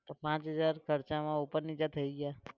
તો પાંચ હજાર ખર્ચામાં ઉપર નીચે થઇ ગયા?